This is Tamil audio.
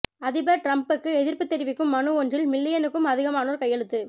அதிபர் டிரம்புக்கு எதிர்ப்பு தெரிவிக்கும் மனு ஒன்றில் மில்லியனுக்கும் அதிகமானோர் கையெழுத்து